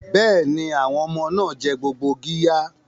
Bẹ́ẹ̀ni, àwọn ọmọ náà jẹ gbogbo qirya.